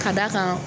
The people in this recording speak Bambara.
Ka d'a kan